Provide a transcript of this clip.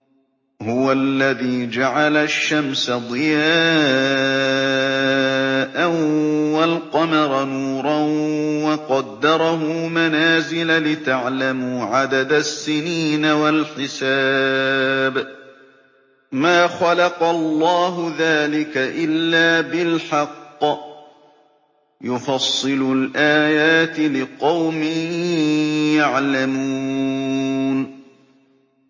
هُوَ الَّذِي جَعَلَ الشَّمْسَ ضِيَاءً وَالْقَمَرَ نُورًا وَقَدَّرَهُ مَنَازِلَ لِتَعْلَمُوا عَدَدَ السِّنِينَ وَالْحِسَابَ ۚ مَا خَلَقَ اللَّهُ ذَٰلِكَ إِلَّا بِالْحَقِّ ۚ يُفَصِّلُ الْآيَاتِ لِقَوْمٍ يَعْلَمُونَ